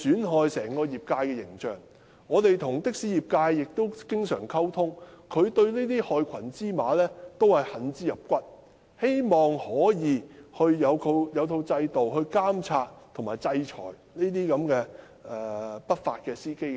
我們經常與的士業界溝通，他們對於這些害群之馬同樣恨之入骨，希望能有制度監察及制裁這些不法司機。